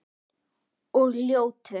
Og ljótur.